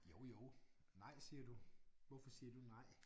Jo jo nej siger du. Hvorfor siger du nej?